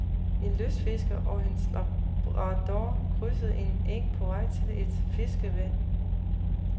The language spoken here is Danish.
En lystfisker og hans labrador krydsede en eng på vej til et fiskevand.